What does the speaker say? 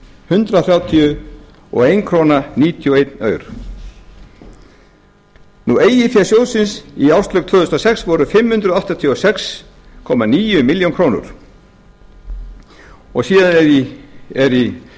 hundrað þrjátíu og einn komma níutíu og eina krónu eigin fé sjóði í árslok tvö þúsund og sex voru fimm hundruð áttatíu og sex komma níu milljónir króna og síðan er í